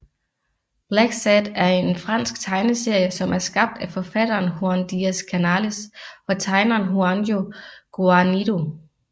Blacksad er en fransk tegneserie som er skabt af forfatteren Juan Diaz Canales og tegneren Juanjo Guarnido